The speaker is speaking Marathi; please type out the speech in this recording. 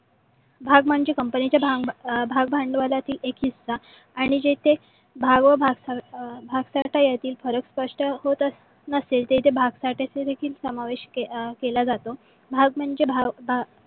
भाग म्हणजे कंपनीच्या भाग भांडवलीतील एक हिस्सा. आणि जेते भाग व भागकर्ता यातील फरक स्पष्ट होत नसेल. तेथे भाग चा समावेश केला जातो. भाग म्हणजे